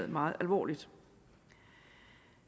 meget alvorligt